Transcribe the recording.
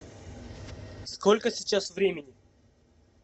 сколько сейчас времени